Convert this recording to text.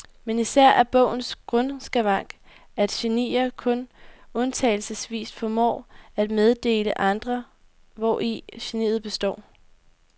Men især er bogens grundskavank, at genier kun undtagelsesvis formår at meddele andre, hvori geniet består.